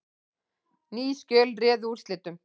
Ný skjöl réðu úrslitum